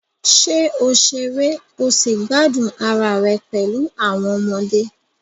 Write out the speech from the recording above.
Ṣé o ṣeré o sì gbádùn ara rẹ pẹ̀lú àwọn ọmọdé?